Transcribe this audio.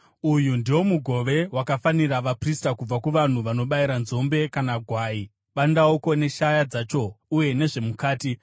Uyu ndiwo mugove wakafanira vaprista kubva kuvanhu vanobayira nzombe kana gwai: bandauko neshaya dzacho uye nezvemukati.